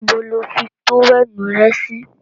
Níbo lo fi tówẹ́ẹ̀nù rẹ sì?